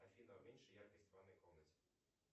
афина уменьши яркость в ванной комнате